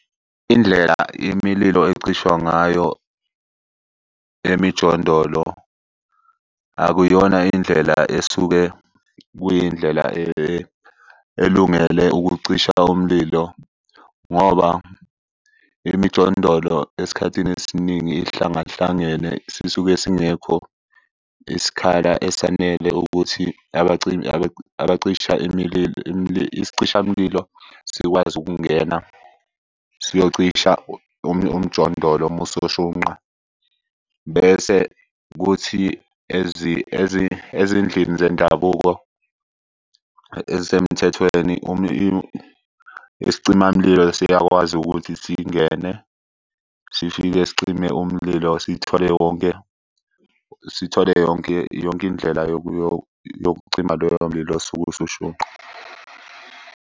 Indlela imililo ecishwa ngayo emijondolo akuyona indlela esuke kuyindlela elungele ukucisha umlilo ngoba emijondolo esikhathini esiningi ihlangahlangene sisuke singekho isikhala esanele ukuthi Isicishamlilo sikwazi ukungena siyocisha umjondolo uma usushunqa. Bese kuthi ezindlini zendabuko ezisemthethweni isicima mlilo siyakwazi ukuthi singene sifike sicime umlilo sithole wonke, sithole yonke yonke indlela yokucima loyo mlilo osuke usushunqa.